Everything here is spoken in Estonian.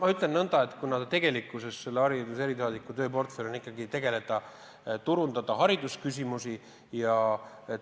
Ma ütlen nõnda, et selle hariduse erisaadiku tööportfellis on ikkagi haridusega seotud turundusülesanded.